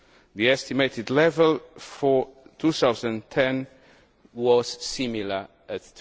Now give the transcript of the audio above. The estimated level for 2010 was similar at